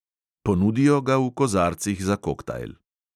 Ponudijo ga v kozarcih za koktajl.